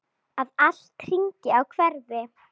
Að allt hrynji og hverfi.